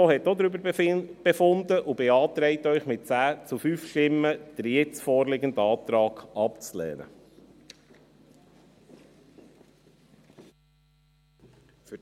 Die FiKo hat auch darüber befunden und beantragt Ihnen mit 10 zu 5 Stimmen, den jetzt vorliegenden Antrag abzulehnen. .